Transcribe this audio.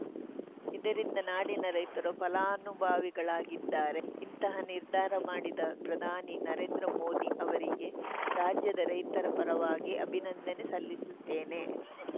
ಇದರಿಂದ ನಾಡಿನ ರೈತರು ಫಲಾನುಭಾವಿಗಳಾಗಿದ್ದಾರೆ ಇಂತಹ ನಿರ್ಧಾರ ಮಾಡಿದ ಪ್ರಧಾನಿ ನರೇಂದ್ರ ಮೋದಿ ಅವರಿಗೆ ರಾಜ್ಯದ ರೈತರ ಪರವಾಗಿ ಅಭಿನಂದನೆ ಸಲ್ಲಿಸುತ್ತೇನೆ